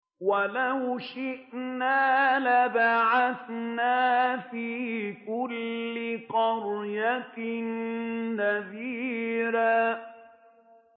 وَلَوْ شِئْنَا لَبَعَثْنَا فِي كُلِّ قَرْيَةٍ نَّذِيرًا